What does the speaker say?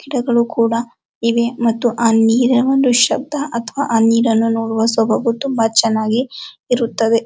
ಗಿಡಗಳು ಕೂಡ ಇವೆ ಮತ್ತು ಆ ನೀರಿನ ಒಂದು ಶಬ್ದ ಅಥವಾ ಆ ನೀರನ್ನು ನೋಡುವ ಸೊಬಗು ತುಂಬಾ ಚೆನ್ನಾಗಿ ಇರುತ್ತದೆ.